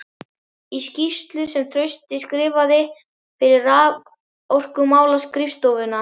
Í skýrslu sem Trausti skrifaði fyrir Raforkumálaskrifstofuna